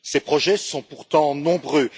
Ces projets sont pourtant nombreux.